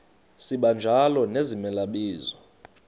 sibanjalo nezimela bizo